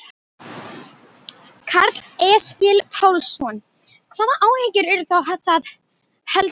Karl Eskil Pálsson: Hvaða áhyggjur eru þá það helstar?